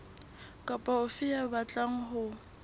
kapa ofe ya batlang ho